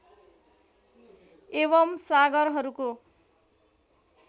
एवम् सागरहरूको